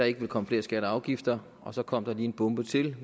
ikke ville komme flere skatter og afgifter og så kom der lige en bombe til